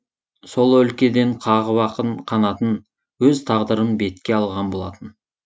сол өлкеден қағып ақын қанатын өз тағдырын бетке алған болатын